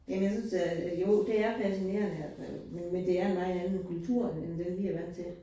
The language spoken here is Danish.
Jamen jeg synes øh jo det er fascinerende og, men men det er en meget anden kultur end den, vi er vant til